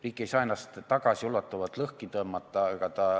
Riik ei saa ennast tagasiulatuvalt lõhki tõmmata.